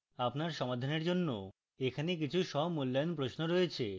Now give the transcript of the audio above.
আপনার সমাধানের জন্য এখানে কিছু স্বমূল্যায়ন প্রশ্ন রয়েছে